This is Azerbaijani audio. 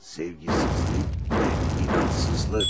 Sevgisizlik və inamsızlıq.